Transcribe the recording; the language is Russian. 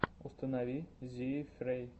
установи зиифрей